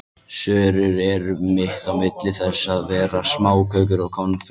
Sörur eru mitt á milli þess að vera smákökur og konfekt.